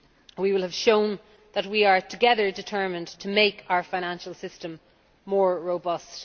We will have shown that we are together determined to make our financial system more robust.